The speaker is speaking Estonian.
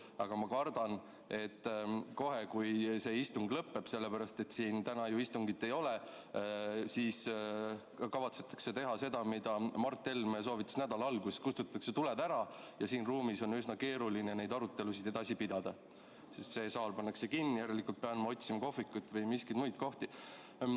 Aga ma kardan, et kohe, kui see istung lõpeb – sellepärast, et siin täna ju istungit ei ole –, kavatsetakse teha seda, mida Mart Helme soovitas nädala alguses: kustutatakse tuled ära ja siin ruumis on üsna keeruline neid arutelusid edasi pidada, sest see saal pannakse kinni, järelikult pean ma otsima kohvikut või mingeid muid kohti.